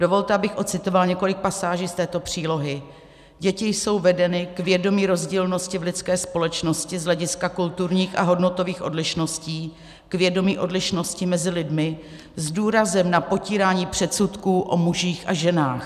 Dovolte, abych ocitovala několik pasáží z této přílohy: "Děti jsou vedeny k vědomí rozdílnosti v lidské společnosti z hlediska kulturních a hodnotových odlišností, k vědomí odlišnosti mezi lidmi s důrazem na potírání předsudků o mužích a ženách.